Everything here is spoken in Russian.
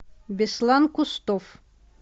беслан кустов